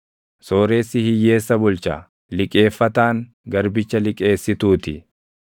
Sooressi hiyyeessa bulcha; liqeeffataan garbicha liqeessituu ti.